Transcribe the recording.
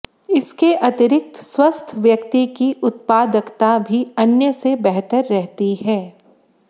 इसके अतिरिक्त स्वस्थ व्यक्ति की उत्पादकता भी अन्य से बेहतर रहती है